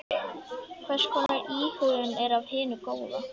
Hvers konar íhugun er af hinu góða.